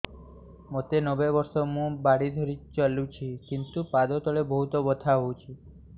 ମୋତେ ନବେ ବର୍ଷ ମୁ ବାଡ଼ି ଧରି ଚାଲୁଚି କିନ୍ତୁ ପାଦ ତଳ ବହୁତ ବଥା ହଉଛି